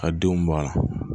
Ka denw balo